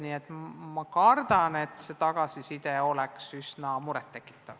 Nii et ma kardan, et see tagasiside võib olla üsna muret tekitav.